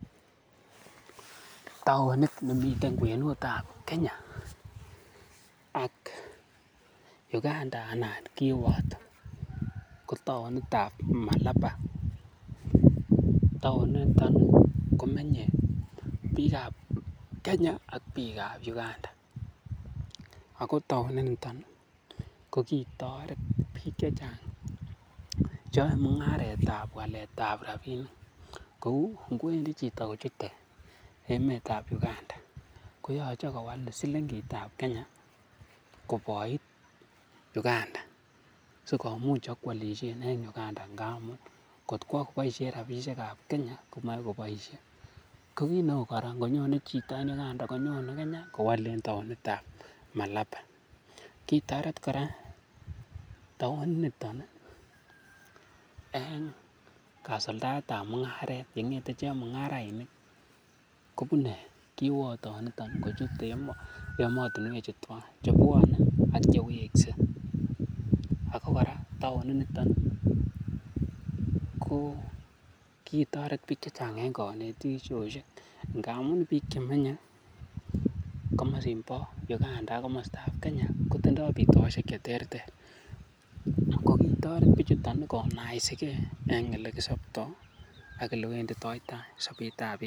Taonit nemiten kwenut ab Kenya Uganda ana kiwoto ko tanit ab Malaba. Taoninito komenye biikab Kenya ak biikab Uganda ago taoninito ko iitoret biik chechang che yoe mung'aret ab walet ab rabinik kou ngo wendi chito kochute emet ab Uganda, koyoche kowal silingit ab Kenya koboit Uganda sikomuch ibkoalishen en Uganda ngamun kotkwo koboisien rabishek ab Kenya en Uganda komoboisie. Ko kit neu kora konyone chito en Uganda konyone kenya kowolen taonit ab Malaba kitoret kora taoniniton en kasuldaet ab mung'aret ne ng'ete chemung'arainik koune kiwotonito kochute emotinwek chu twan. Chebwon ak konyo kowekse ak kora taoninito ko kitoret biiik che chang en konetishoshek ngamun biik che menye komosin bo Uganda ak komosi bo Kenya kotindo bitoshek che terter, ko kitoret bichuto konaisige en olekisobto ak ole wenditoita sobet ab biik.